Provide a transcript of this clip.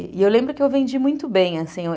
E eu lembro que eu vendi muito bem, assim.